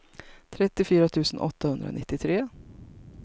trettiofyra tusen åttahundranittiotre